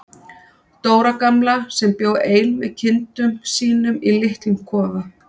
Dóra gamla sem bjó ein með kindum sínum í litlum kofa.